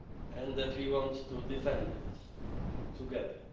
And that we want to defend it together.